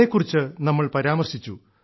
അതെക്കുറിച്ച് നമ്മൾ പരാമർശിച്ചു